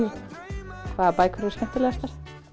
hvaða bækur eru skemmtilegastar